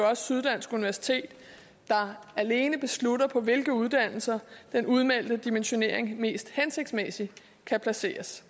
også syddansk universitet der alene beslutter på hvilke uddannelser den udmeldte dimensionering mest hensigtsmæssigt kan placeres